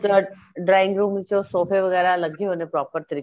ਦਰਵਾਜਾ drawing room ਚੋ ਸੋਫੇ ਵਗੈਰਾ ਲੱਗੇ ਹੋਏ ਨੇ proper ਤਰੀਕੇ